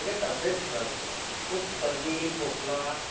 अग तब्येत खराब होती माझी खूप सर्दी खोकला